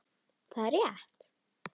Það er rétt.